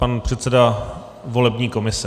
Pan předseda volební komise.